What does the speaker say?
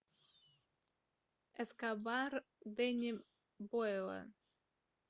эскобар дэнни бойла